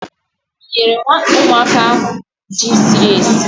i nyere umuaka ahu ji siri esi?